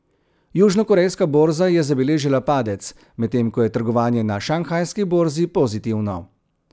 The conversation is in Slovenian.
Južnokorejska borza je zabeležila padec, medtem ko je trgovanje na šanghajski borzi pozitivno.